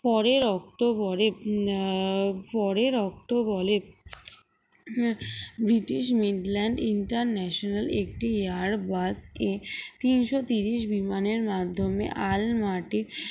পরের অক্টোবরে আহ পরের অক্টোবরে ব্রিটিশ মিডল্যান্ড international একটি air bird এ তিনশো তিরিশ বিমান এর মাধ্যমে আলমার্টে